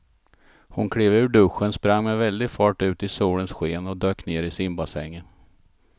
Hon klev ur duschen, sprang med väldig fart ut i solens sken och dök ner i simbassängen.